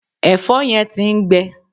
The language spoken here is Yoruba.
Ẹ̀̀fọ́ yẹn ti ń gbẹ